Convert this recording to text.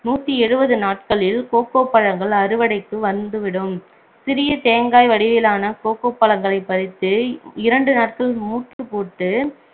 நூத்தி எழுபது நாட்களில் கோகோ பழங்கள் அறுவடைக்கு வந்துவிடும் சிறிய தேங்காய் வடிவிலான கோகோ பழங்களைப் பறித்து இரண்டு நாட்கள் மூட்டுபோட்டு